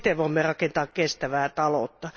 Vain siten voimme rakentaa kestävää taloutta.